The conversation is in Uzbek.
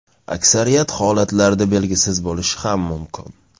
Aksariyat holatlarda belgisiz bo‘lishi ham mumkin.